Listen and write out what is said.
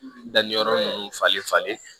Danni yɔrɔ nunnu falen falen